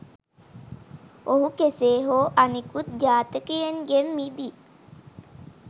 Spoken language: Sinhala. ඔහු කෙසේ හෝ අනිකුත් ඝාතකයින්ගෙන් මිදී